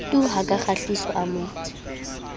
tu ha kgahliso a mo